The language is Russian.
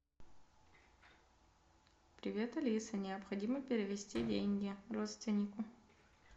привет алиса необходимо перевести деньги родственнику